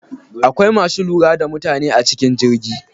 Akwai masu lura da mutane a cikin jirgi.